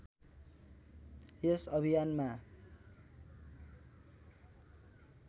यस अभियानमा